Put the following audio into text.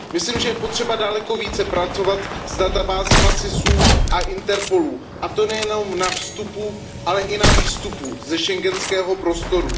Myslím, že je potřeba daleko více pracovat s databázemi SIS a Interpolu, a to nejen na vstupu, ale i na výstupu ze schengenského prostoru.